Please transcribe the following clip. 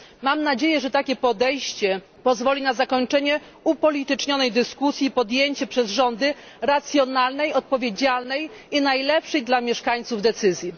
Mam nadzieję, że takie podejście pozwoli na zakończenie upolitycznionej dyskusji i podjęcie przez rządy racjonalnej, odpowiedzialnej i najlepszej dla mieszkańców decyzji.